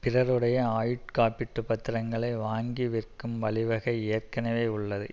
பிறருடைய ஆயுட்காப்பீட்டுப் பத்திரங்களை வாங்கி விற்கும் வழி வகை ஏற்கனவே உள்ளது